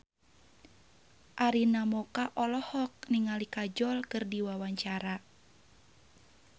Arina Mocca olohok ningali Kajol keur diwawancara